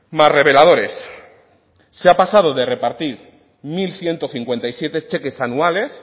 más reveladores se ha pasado de repartir mil ciento cincuenta y siete cheques anuales